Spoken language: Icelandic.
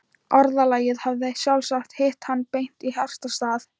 Orðalagið hafði sjálfsagt hitt hann beint í hjartastað.